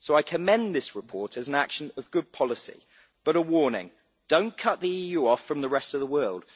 So I commend this report as an action of good policy but a warning do not cut the EU off from the rest of the world.